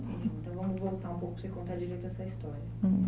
Então vamos voltar um pouco para você contar direito essa história. Hm.